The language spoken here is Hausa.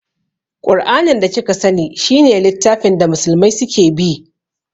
Ƙur'anin da kika sani shi ne littafin da musulmai su ke bi